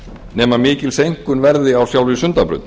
nema mikil seinkun verði á sjálfri sundabraut